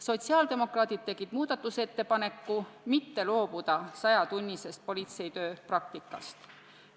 Sotsiaaldemokraadid tegid ettepaneku mitte loobuda sajatunnisest politseitöö praktikast.